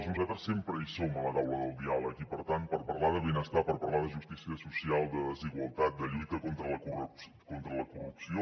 nosaltres sempre hi som a la taula del diàleg i per tant per parlar de benestar per parlar de justícia social de desigualtat de lluita contra la corrupció